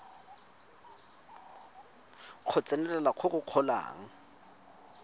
go tsenelela go go golang